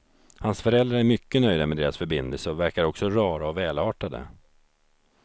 Hans föräldrar är mycket nöjda med deras förbindelse och verkar också rara och välartade.